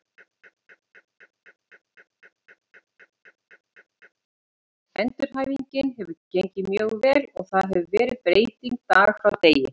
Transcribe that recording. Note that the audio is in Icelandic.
Endurhæfingin hefur gengið mjög vel og það hefur verið breyting dag frá degi.